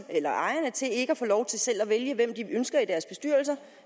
eller ejerne til ikke at få lov til selv at vælge hvem de ønsker i deres bestyrelser